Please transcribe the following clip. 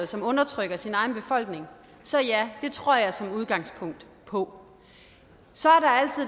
som undertrykker sin egen befolkning så ja det tror jeg som udgangspunkt på så